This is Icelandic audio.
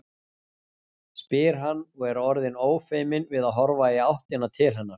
spyr hann og er orðinn ófeiminn við að horfa í áttina til hennar.